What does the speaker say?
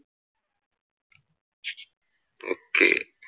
Okay.